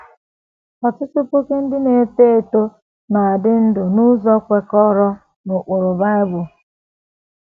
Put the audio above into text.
Ọtụtụ puku ndị na - eto eto na - adị ndụ n’ụzọ kwekọrọ n’ụkpụrụ Bible